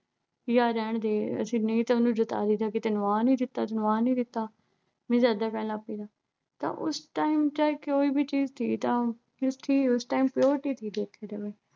ਵੀ ਆ ਰਹਿਣ ਦੇ ਅਸੀਂ ਨਹੀਂ ਤਾਂ ਉਹਨੂੰ ਜਤਾ ਦਈਦਾ ਕਿ ਤੈਨੂੰ ਆ ਨਹੀਂ ਦਿੱਤਾ, ਤੈਨੂੰ ਆ ਨਹੀਂ ਦਿੱਤਾ means ਐਦਾ ਕਹਿਣ ਲੱਗ ਪਈਦਾ ਤਾਂ ਉਸ time ਚਾਹੇ ਕੋਈ ਵੀ ਚੀਜ਼ ਥੀ ਤਾਂ ਸੀ ਉਸ time purity ਥੀ ਲੋਗੋਂ ਮੇਂ।